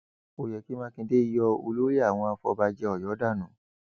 ó yẹ kí mákindé yọ olórí àwọn afọbàjẹ ọyọ dànù